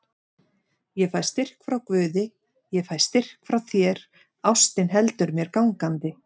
Ég fæ styrk frá guði, ég fæ styrk frá þér, ástin heldur mér gangandi.